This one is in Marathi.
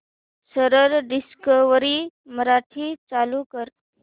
सरळ डिस्कवरी मराठी चालू कर